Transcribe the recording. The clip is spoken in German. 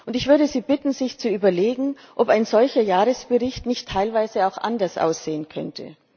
Ich würde Sie bitten, sich zu überlegen, ob ein solcher Jahresbericht nicht teilweise auch anders aussehen könnte.